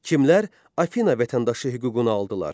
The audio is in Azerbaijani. Kimlər Afina vətəndaşı hüququnu aldılar?